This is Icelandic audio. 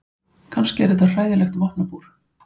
Kannski er þetta hræðilegt vopnabúr.